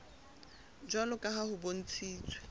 jwalo ka ha ho bontshitswe